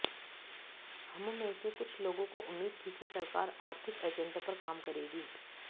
हममें से कुछ लोगों को उम्मीद थी सरकार आर्थिक एजेंडे पर काम करेगी